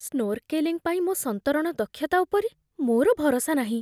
Snorkelling ପାଇଁ ମୋ ସନ୍ତରଣ ଦକ୍ଷତା ଉପରେ ମୋର ଭରସା ନାହିଁ।